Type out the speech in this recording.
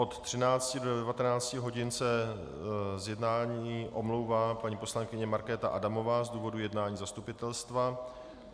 Od 13 do 19 hodin se z jednání omlouvá paní poslankyně Markéta Adamová z důvodu jednání zastupitelstva.